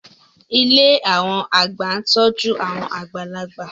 Ilé àwọn àgbà ń tọ́jú àwọn àgbàlagbà